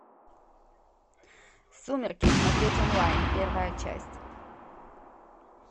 сумерки смотреть онлайн первая часть